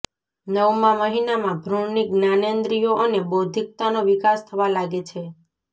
નવમા મહિનામાં ભ્રૂણની જ્ઞાનેન્દ્રિયો અને બૌદ્ધિકતાનો વિકાસ થવા લાગે છે